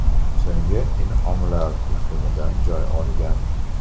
So‘nggi in’omlar” turkumidan joy olgan.